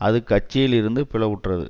அது கட்சியில் இருந்து பிளவுற்றது